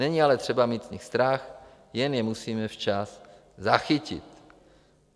Není ale třeba mít z nich strach, jen je musíme včas zachytit.